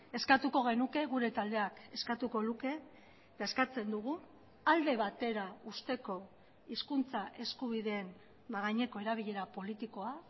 eskatuko genuke gure taldeak eskatuko luke eta eskatzen dugu alde batera uzteko hizkuntza eskubideen gaineko erabilera politikoa